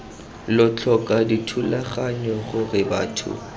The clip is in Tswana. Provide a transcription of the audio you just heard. lo tlhoka dithulaganyo gore batho